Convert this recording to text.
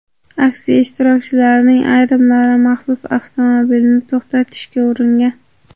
Aksiya ishtirokchilarining ayrimlari maxsus avtomobilni to‘xtatishga uringan.